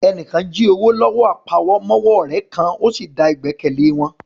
Ẹni kan jí owó lọ́wọ́ àpamọ́wọ́ ọ̀rẹ́ kan, ó sì da ìgbẹ́kẹ̀lé wọn